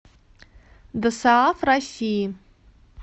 досааф россии